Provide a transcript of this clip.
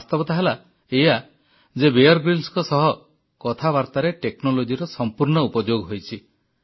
ବାସ୍ତବତା ହେଲା ଏଇଆ ଯେ ବିୟର Gryllsଙ୍କ ସହ କଥାବାର୍ତ୍ତାରେ Technologyର ସମ୍ପୂର୍ଣ୍ଣ ଉପଯୋଗ ହୋଇଛି